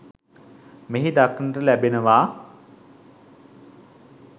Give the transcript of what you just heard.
මෙහි දක්නට ලැබෙනවා.